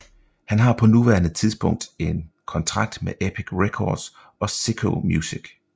Han har på nuværende tidspunkt en kontrakt med Epic Records og Syco Music